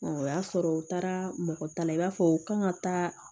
o y'a sɔrɔ u taara mɔgɔ ta la i b'a fɔ u kan ka taa